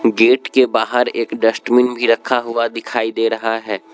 Gate के बाहर एक डस्टबिन भी रखा हुआ दिखाई दे रहा है।